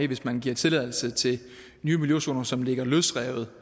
hvis man giver tilladelse til nye miljøzoner som ligger løsrevet